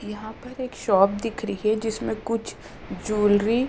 यहाँ पर एक शॉप दिख रही है जिस में कुछ जूलरी --